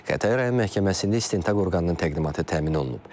Xətai rayon məhkəməsində istintaq orqanının təqdimatı təmin olunub.